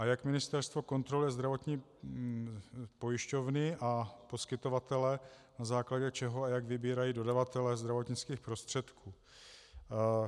A jak ministerstvo kontroluje zdravotní pojišťovny a poskytovatele, na základě čeho a jak vybírají dodavatele zdravotnických prostředků?